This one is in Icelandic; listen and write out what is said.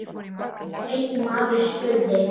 Einn maður spurði